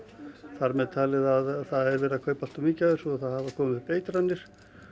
þar með talið að það er verið að kaupa allt of mikið af þessu og það hafa komið upp eitranir